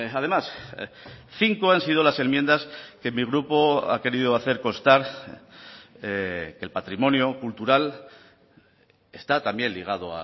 además cinco han sido las enmiendas que mi grupo ha querido hacer constar que el patrimonio cultural está también ligado